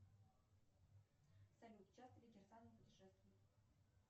салют часто ли кирсанов путешествует